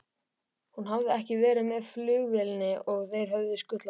Hún hafði ekki verið með flugvélinni og þeir höfðu skutlað